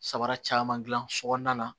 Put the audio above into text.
Sabara caman gilan sokɔnɔna na